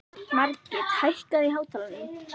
Margit, hækkaðu í hátalaranum.